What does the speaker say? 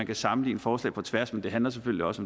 kan sammenligne forslag på tværs men det handler selvfølgelig også